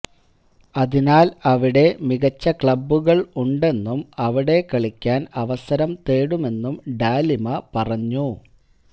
അതിനാല് അവിടെ മികച്ച ക്ലബുകള് ഉണ്ടെന്നും അവിടെ കളിക്കാന് അവസരം തേടുമെന്നും ഡാലിമ പറഞ്ഞു